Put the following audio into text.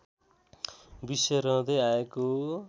विषय रहँदै आएको